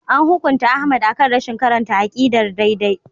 An hukunta Ahmad akan rashin karanta aqidar daidai.